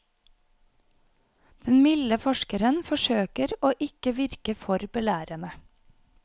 Den milde forskeren forsøker å ikke virke for belærende.